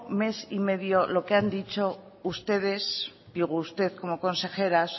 mes y medio lo que han dicho ustedes digo usted como consejera